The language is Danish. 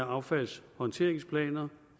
affaldshåndteringsplaner